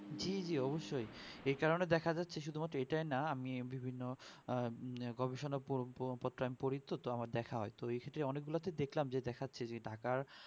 জি জি অবশই এই কারণে দেখা যাচ্ছে শুধু মাত্র এটাই না আমি বিভিন্ন গবেষণা প~প~পত্রন পড়ি তো আমার দেখা হয় তো এই ক্ষেত্রে অনেক গুলা তো দেখলাম যে দেখাচ্ছে যে ঢাকা